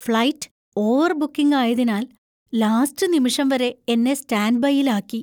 Flight over booking ആയതിനാൽ last നിമിഷം വരെ എന്നെ സ്റ്റാൻഡ് ബൈയിൽ ആക്കി.